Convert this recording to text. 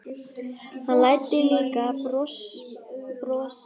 Hann læddi líka brosi fram á varirnar.